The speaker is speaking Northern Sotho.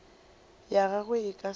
ya gagwe e ka se